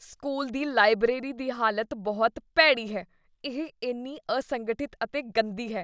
School ਦੀ library ਦੀ ਹਾਲਤ ਬਹੁਤ ਭੈੜੀ ਹੈ, ਇਹ ਇੰਨੀ ਅਸੰਗਠਿਤ ਅਤੇ ਗੰਦੀ ਹੈ।